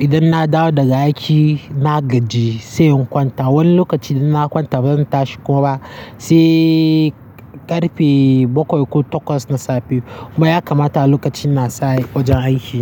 Idan na dawo da aiki, na gaji sai in kwanta. Wani lokaci idan na kwanta banzan tashi kuma ba sai ƙarfe bakwai ko takwas na safe. Kuma ya kamata lokacin na sa yi wajen aiki.